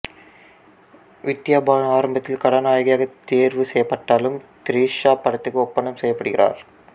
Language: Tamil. வித்யா பாலன் ஆரம்பத்தில் கதாநாயகியாக தெரிவு செய்யப்பட்டாலும் திரிசா படத்திற்கு ஒப்பந்தம் செய்ய படுகிறார்